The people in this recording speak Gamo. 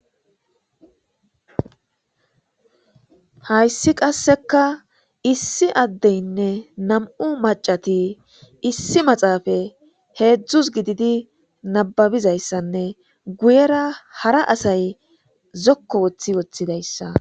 Hayssi qasseka issi addeynne nam'u macati issi maxaafa heedzdzus gididi nababizayssanne guyera hara asay zokko woththi woththidayssa.